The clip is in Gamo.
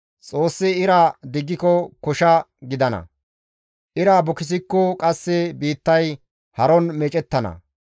Xoossi ira diggiko kosha gidana; ira bukisikko qasse biittay haron meecettana.